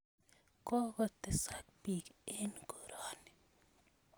Kokotesak piik eng' koroni